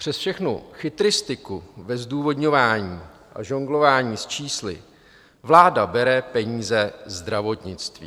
Přes všechnu chytristiku ve zdůvodňování a žonglování s čísly vláda bere peníze zdravotnictví.